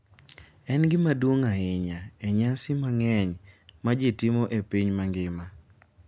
En gima duong’ ahinya e nyasi mang’eny ma ji timo e piny mangima.